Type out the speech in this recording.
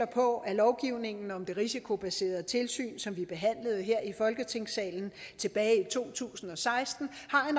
på at lovgivningen om det risikobaserede tilsyn som vi behandlede her i folketingssalen tilbage i to tusind og seksten